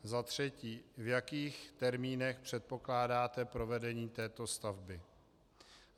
Za třetí: v jakých termínech předpokládáte provedení této stavby?